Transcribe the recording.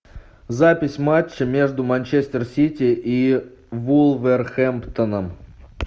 запись матча между манчестер сити и вулверхэмптоном